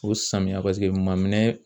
O samiya paseke maminɛn